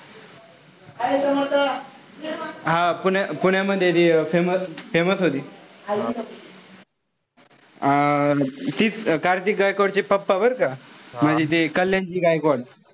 हा पुण्या पुण्यामध्ये ती famous होती. अं तीच कार्तिकी गायकवाड चे papa बरं का म्हणजे ते कल्याणची गायकवाड,